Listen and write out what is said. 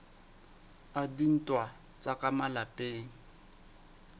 a dintwa tsa ka malapeng